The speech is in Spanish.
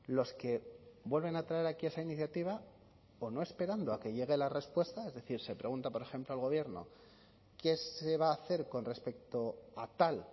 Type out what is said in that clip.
los que vuelven a traer aquí esa iniciativa o no esperando a que llegue la respuesta es decir se pregunta por ejemplo al gobierno qué se va a hacer con respecto a tal